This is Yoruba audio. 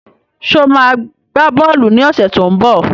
Sọ ma gbá bọ́ọ̀lù ní ọ̀sẹ̀ tó ń bọ̀?